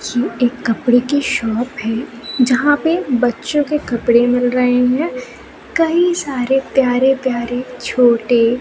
ये एक कपड़े की शॉप है जहां पे बच्चों के कपड़े मिल रहे हैं कई सारे प्यारे प्यारे छोटे--